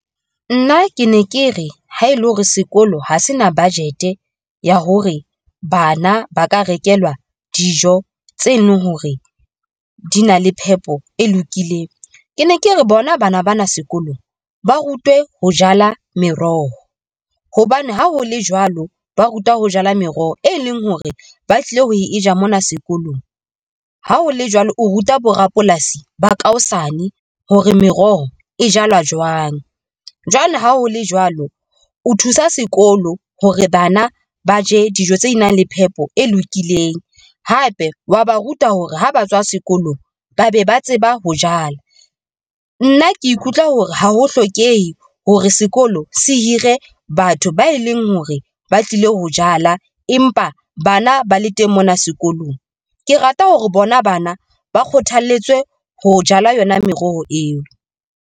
Nna ke ne ke re ha e le hore sekolo ha se na budget ya hore bana ba ka rekelwa dijo tse leng hore di na le phepo e lokileng. Ke ne ke re bona bana bana sekolong ba rutwe ho jala meroho hobane ha ho le jwalo ba ruta ho jala meroho, e leng hore ba tlile ho e ja mona sekolong. Ha ho le jwalo, o ruta borapolasi ba ka hosane hore meroho e jalwa jwang. Jwale, ha ho le jwalo, o thusa sekolo hore bana ba je dijo tse nang le phepo e lokileng hape wa ba ruta hore ha ba tswa sekolong, ba be ba tseba ho jala. Nna ke ikutlwa hore ha ho hlokehe hore sekolo se hire batho ba e leng hore ba tlile ho jala, empa bana ba le teng mona sekolong. Ke rata hore bona bana ba kgothaletswe ho jala yona meroho eo.